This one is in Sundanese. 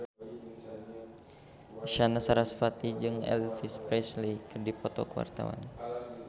Isyana Sarasvati jeung Elvis Presley keur dipoto ku wartawan